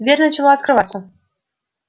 дверь начала открываться